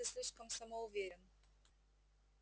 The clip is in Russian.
ты слишком самоуверен